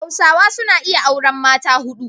Hausawa suna iya auran mata hudu.